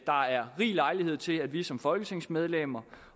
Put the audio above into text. er rig lejlighed til at vi som folketingsmedlemmer